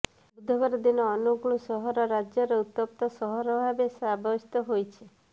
ବୁଧବାର ଦିନ ଅନୁଗୁଳ ସହର ରାଜ୍ୟର ଉତ୍ତପ୍ତ ସହର ଭାବେ ସାବ୍ୟସ୍ତ ହୋଇଛି